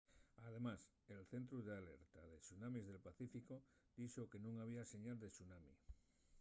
además el centru d’alerta de tsunamis del pacíficu dixo que nun había señal de tsunami